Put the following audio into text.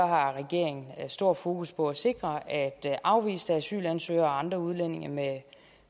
har regeringen stor fokus på at sikre at afviste asylansøgere og andre udlændinge med